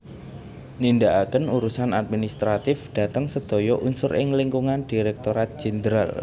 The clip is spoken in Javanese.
Nindakaken urusan administratif dhateng sedaya unsur ing lingkungan Direktorat Jenderal